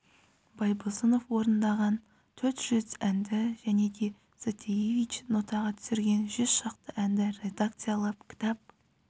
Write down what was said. байбосынов орындаған төрт жүз әнді және де затаеевич нотаға түсірген жүз шақты әнді редакциялап кітап